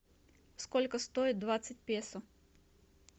сколько стоит двадцать песо